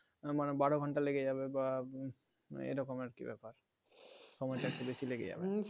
আমার বারো ঘন্টা লেগে যাবে বা এইরকম আরকি ব্যাপার সময়টা একটু বেশি লেগে যাবে